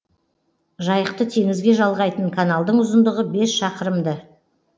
жайықты теңізге жалғайтын каналдың ұзындығы бес шақырымды